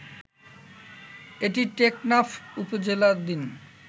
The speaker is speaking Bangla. এটি টেকনাফ উপজেলাধীন